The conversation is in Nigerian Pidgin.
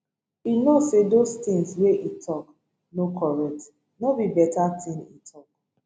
e no say those tins wey e tok no correct no be beta tin e tok